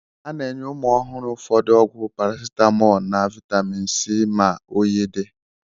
A na-enye ụmụ ọhụrụ ụfọdụ ọgwụ parasitamọlu na vaitamin C ma oyi dị.